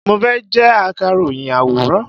Mo fẹ́ jẹ́ Akàròyìn àwòrán.